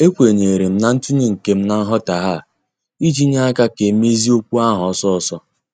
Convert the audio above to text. Ekwenyerem na ntunye nkem na nghotaghie a iji nye aka ka emezie okwu ahụ ọsọ ọsọ.